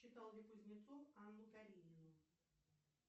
читал ли кузнецов анну каренину